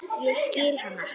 Ég skil hana.